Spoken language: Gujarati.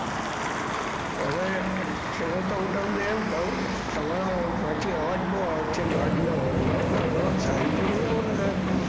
હવે હું તમને એ ક્વ તમારા વચ્ચે આવાજ બહી આવે વચ્ચે ગાડી ના હોર્ન નો તો સઈદે પર જય આવો સાહેબ,